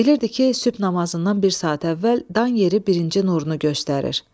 Bilirdi ki, sübh namazından bir saat əvvəl dan yeri birinci nurunu göstərir.